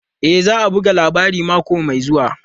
E, za a buga labarin mako mai zuwa.